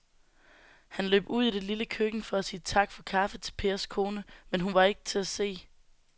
Han løb ud i det lille køkken for at sige tak for kaffe til Pers kone, men hun var ikke til at se.